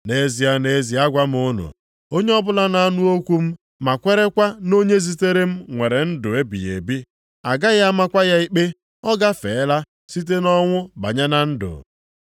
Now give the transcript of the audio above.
“Nʼezie, nʼezie agwa m unu, onye ọbụla na-anụ okwu m ma kwerekwa nʼonye zitere m nwere ndụ ebighị ebi, a gaghị amakwa ya ikpe, ọ gafeela site nʼọnwụ banye na ndụ.